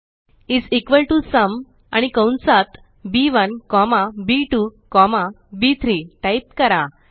is equal to sum आणि कंसात B one comma B two comma बी3 टाइप करा